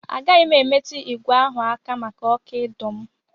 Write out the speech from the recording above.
Agaghị m emetụ ìgwè ahụ aka maka ọkụ ịdọ m.